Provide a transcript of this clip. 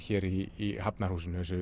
hér í Hafnarhúsinu þessu